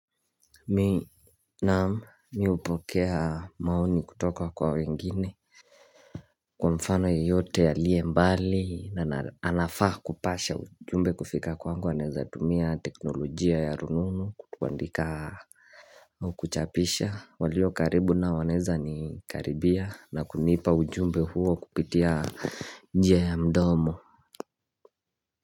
Mimi Naam mimi hupokea maoni kutoka kwa wengine Kwa mfano yeyote aliye mbali na anafaa kupasha ujumbe kufika kwangu anaweza tumia teknolojia ya rununu kuandika Ukuchapisha walio karibu nao wanaweza ni karibia na kunipa ujumbe huo kupitia njia ya mdomo.